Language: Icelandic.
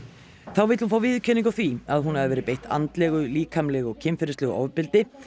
þá vill hún fá viðurkenningu á því að hún hafi verið beitt andlegu líkamlegu og kynferðislegu ofbeldi